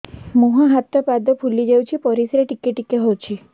ମୁହଁ ହାତ ପାଦ ଫୁଲି ଯାଉଛି ପରିସ୍ରା ଟିକେ ଟିକେ ହଉଛି